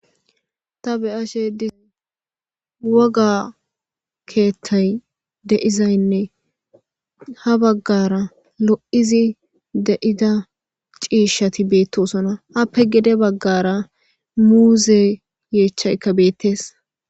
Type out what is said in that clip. ta be7ashe dis woga keeththay deizaynne ha baggara lo7izi de7ida ciishati beettosona appe gede baggara muuze yeechchaykka beettees